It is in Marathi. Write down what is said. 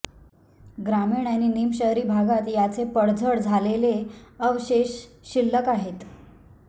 ग्रामीण आणि निमशहरी भागात याचे पडझड झालेले अवशेष शिल्लक आहेत